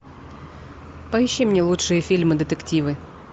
поищи мне лучшие фильмы детективы